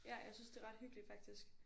Ja jeg synes det er ret hyggeligt faktisk